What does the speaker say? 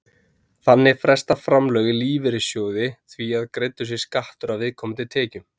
Þannig fresta framlög í lífeyrissjóði því að greiddur sé skattur af viðkomandi tekjum.